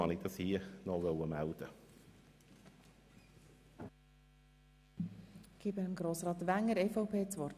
Ich antworte gerne auf die Frage von Grossrätin Gschwend.